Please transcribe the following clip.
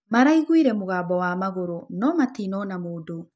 Maraĩgũĩre mũgambo wa magũrũ no matĩnona mũdũ